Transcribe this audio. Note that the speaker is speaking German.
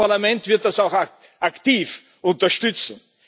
Das Europäische Parlament wird das auch aktiv unterstützen.